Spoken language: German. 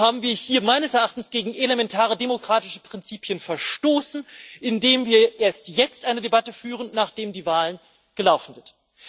Warum haben wir hier meines Erachtens gegen elementare demokratische Prinzipien verstoßen, indem wir erst jetzt eine Debatte führen, nachdem die Wahlen gelaufen sind?